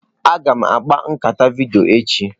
Aga m akpa nkata vidiyo echi.